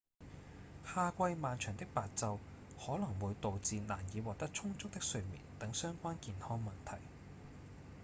夏季漫長的白晝可能會導致難以獲得充足的睡眠等相關健康問題